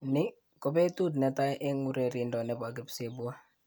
Ni kopetut netai eng urerindo nebo kipsebwo